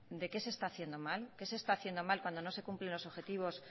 de qué se está haciendo mal qué se están haciendo mal cuando no se cumplen los objetivos